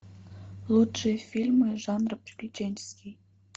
лучшие фильмы жанра приключенческий